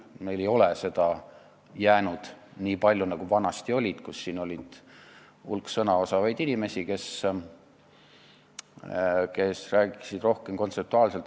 Meile ei ole seda jäänud nii palju, nagu vanasti oli, kui siin oli hulk sõnaosavaid inimesi, kes rääkisid rohkem kontseptuaalselt.